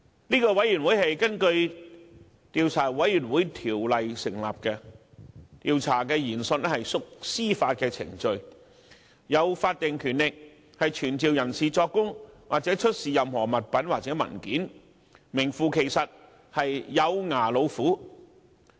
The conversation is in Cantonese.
這是根據《調查委員會條例》成立的調查委員會，調查研訊屬司法程序，並具有法定權力傳召人士作供，或出示任何物品或文件，是名副其實的"有牙老虎"。